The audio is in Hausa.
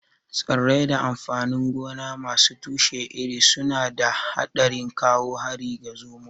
Tsirrai da amfanin gona masu tushe iri suna da haɗari kawo harin ga zomo.